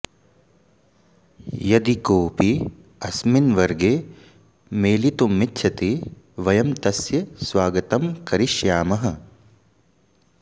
यदि कोऽपि अस्मिन् वर्गे मेलितुमिच्छति वयं तस्य स्वागतं करिष्यामः